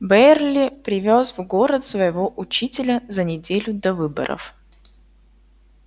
байерли привёз в город своего учителя за неделю до выборов